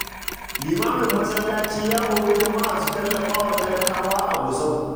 Limamin masallaci ya hori jama’a su tallafa wa talakawa a Gusau.